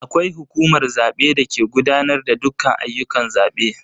Akwai hukumar zabe dake gudanar da dukkan ayyukan zabe.